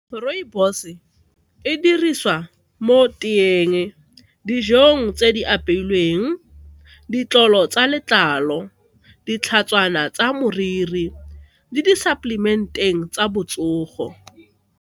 Rooibos e dirisiwa mo teeng, dijong tse di apeilweng, ditlolo tsa letlalo, ditlhatshwana tsa moriri le di-supplement-eng tsa botsogo.